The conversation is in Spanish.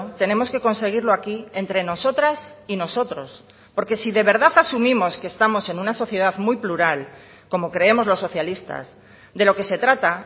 tenemos que conseguirlo aquí entre nosotras y nosotros porque si de verdad asumimos que estamos en una sociedad muy plural como creemos los socialistas de lo que se trata